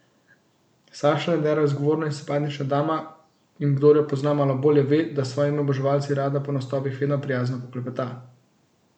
Saša Lendero je zgovorna in simpatična dama, in kdor jo pozna malo bolje, ve, da s svojimi oboževalci rada po nastopih vedno prijazno poklepeta.